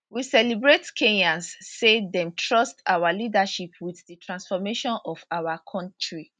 we celebrate kenyans say dem trust our leadership wit di transformation of our kontri